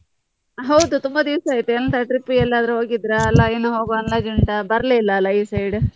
ಹೌದು ತುಂಬಾ ದಿವ್ಸ ಆಯ್ತು ಎಂತ trip ಗೆಲ್ಲದ್ರು ಹೋಗಿದ್ರ, ಇಲ್ಲ ಇನ್ನೂ ಹೋಗುವ ಅಂದಾಜು ಉಂಟಾ ಬರ್ಲೆ ಇಲ್ಲ ಅಲ್ಲ ಈ side .